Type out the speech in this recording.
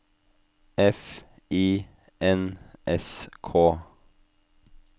F I N S K